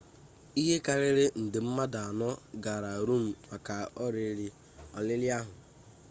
ihe karịrị nde mmadụ anọ gara rom maka olili ahụ